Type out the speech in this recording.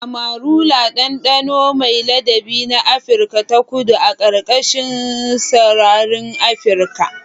Amarula: ɗanɗano mai ladabi na Afirka ta Kudu a ƙarƙashin sararin Afirka.